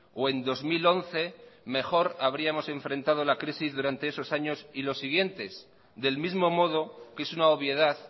o en dos mil once mejor habríamos enfrentado la crisis durante esos años y los siguientes del mismo modo que es una obviedad